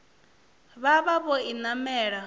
vha vha vho i namela